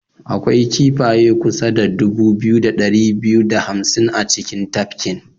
Akwai kifaye kusa da dubu biyu da dari biyu da hamsin a cikin tafkin.